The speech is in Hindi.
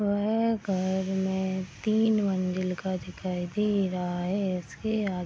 घर में तीन मंज़िल का दिखाई दे रहा है | इसके आगे --